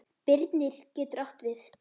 Birnir getur átt við